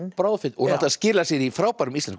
og skilar sér í frábærum íslenskum